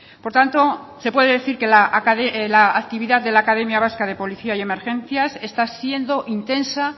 por tanto se puede decir que la actividad de la academia vasca de policía y emergencias está siendo intensa